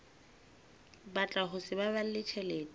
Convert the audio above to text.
batla ho sa baballe tjhelete